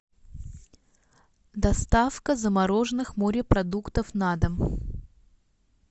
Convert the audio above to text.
доставка замороженных морепродуктов на дом